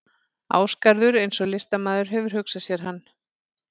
Ásgarður eins og listamaður hefur hugsað sér hann.